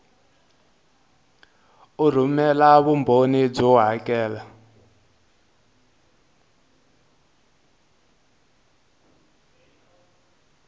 u rhumela vumbhoni byo hakela